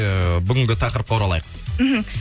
ыыы бүгінгі тақырыпқа оралайық мхм